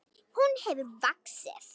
Hún hefur vaxið.